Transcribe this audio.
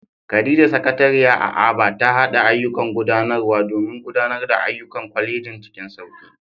Khadija, Sakatariya a Aba, ta haɗa ayyukan gudanarwa domin gudanar da ayyukan kwalejin cikin sauki.